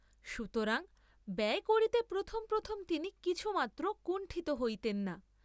সুতরাং ব্যয় করিতে প্রথম প্রথম তিনি কিছুমাত্র কুণ্ঠিত হইতেন না।